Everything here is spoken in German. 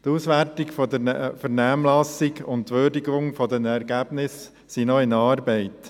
Die Auswertung der Vernehmlassung sowie die Würdigung der Ergebnisse befinden sich noch in Arbeit.